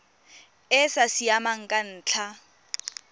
e sa siamang ka ntlha